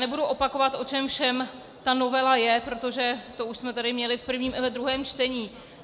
Nebudu opakovat, o čem všem ta novela je, protože to už jsme tady měli v prvním i ve druhém čtení.